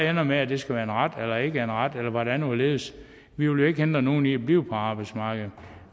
ender med at det skal være en ret eller ikke være en ret eller hvordan og hvorledes vi vil jo ikke hindre nogen i at blive på arbejdsmarkedet